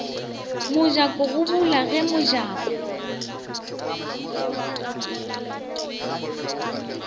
mojako go bula ge mojako